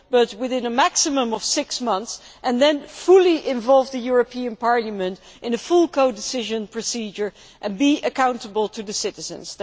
within a maximum of six months, and then fully involve the European Parliament in a full codecision procedure and be accountable to the citizens.